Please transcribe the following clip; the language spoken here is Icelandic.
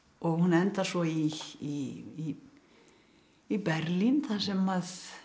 og hún endar svo í í í Berlín þar sem að